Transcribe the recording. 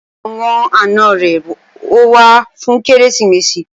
Àwọn àna rẹ̀ ó wá fún Kérésìmesì